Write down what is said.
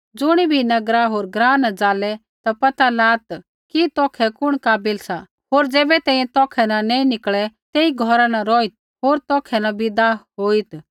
ज़ुणी भी नगरा होर ग्राँ न ज़ालै ता पता लात् कि तौखै कुण काबिल सा होर ज़ैबै तैंईंयैं तौखै न नेइ निकलै तेई घौरा न रौहित् होर तौखै न विदा होईत्